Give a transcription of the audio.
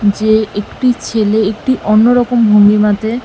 যে একটি ছেলে একটি অন্যরকম ভঙ্গিমাতে।